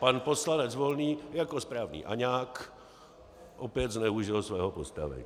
Pan poslanec Volný jako správný aňák opět zneužil svého postavení.